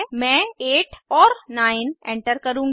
मैं 8 और 9 एंटर करुँगी